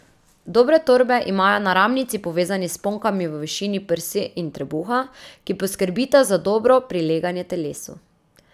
Dobre torbe imajo naramnici povezani s sponkami v višini prsi in trebuha, ki poskrbita za dobro prileganje telesu.